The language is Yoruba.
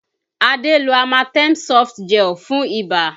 Adé lo Amatem Softgel fún ibà